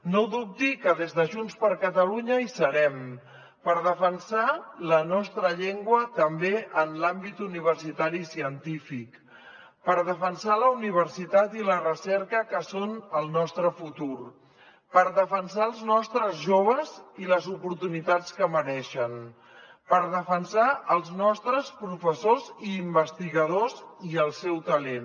no dubti que des de junts per catalunya hi serem per defensar la nostra llengua també en l’àmbit universitari i científic per defensar la universitat i la recerca que són el nostre futur per defensar els nostres joves i les oportunitats que mereixen per defensar els nostres professors i investigadors i el seu talent